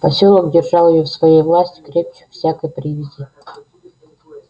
посёлок держал её в своей власти крепче всякой привязи